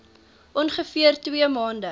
ongeveer twee maande